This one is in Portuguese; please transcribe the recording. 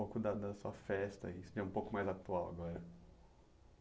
Um pouco da da sua festa, isso que é um pouco mais atual agora.